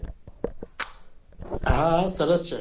હા હા સરસ છે.